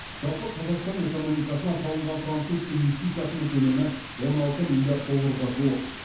жалпы қазақстан экономикасына салынған француз инвестициясының көлемі он алты миллиард долларға жуық